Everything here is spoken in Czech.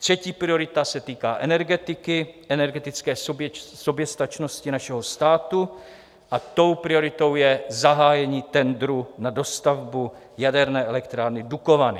Třetí priorita se týká energetiky, energetické soběstačnosti našeho státu, a tou prioritou je zahájení tendru na dostavbu jaderné elektrárny Dukovany.